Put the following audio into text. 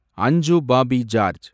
அஞ்சு Bobby George